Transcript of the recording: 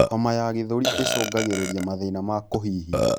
Homa ya gĩthũri icungagirirĩa mathĩna ma kuhihia